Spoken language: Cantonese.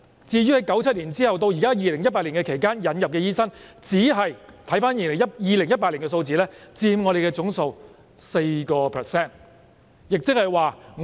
至於在1997年至2018年期間引入的醫生，按2018年的數字，其實只是佔總數的 4%。